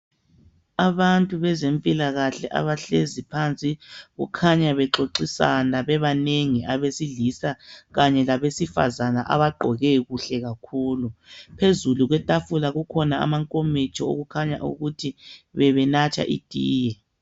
Abantu bezempilakahle abahlezi phansi kukhanya bexoxisana bebanengi abesilisa kanye labesifazana abakhanya begqoke kuhle kakhulu phezulu kwetafula kulamankomitsho okukhanya ukuthi bebenatha itiye.